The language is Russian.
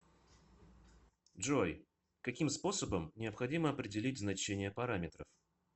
джой каким способом необходимо определить значение параметров